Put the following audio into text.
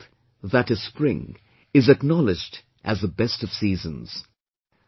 Vasant, that is Spring, is acknowledged as the best of seasons